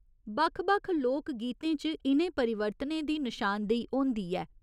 बक्ख बक्ख लोक गीतें च इ'नें परिवर्तनें दी नशानदेही होंदी ऐ।